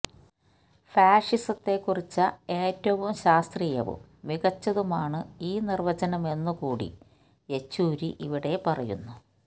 ഫാഷിസത്തെ കുറിച്ച ഏറ്റവും ശാസ്ത്രീയവും മികച്ചതുമാണ് ഈ നിര്വചനമെന്നു കൂടി യെച്ചൂരി ഇവിടെ പറയുന്നു